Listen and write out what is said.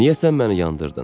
Niyə sən məni yandırdın?